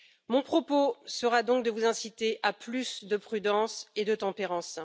Mon propos sera donc de vous inciter à plus de prudence et de tempérance.